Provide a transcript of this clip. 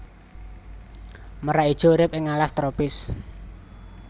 Merak ijo urip ing alas tropis